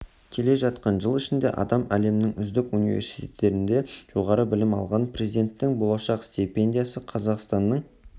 келе жатқан жыл ішінде адам әлемнің үздік университеттерінде жоғары білім алған президенттің болашақ стипендиясы қазақстанның